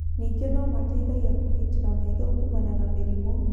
Ningĩ no mateithagia kũgitĩra maitho kuumana na mĩrimũ.